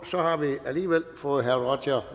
så har vi alligevel fået herre roger